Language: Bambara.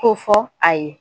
K'o fɔ a ye.